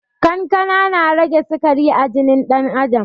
Kankana na rage sikari a jinin ɗan adam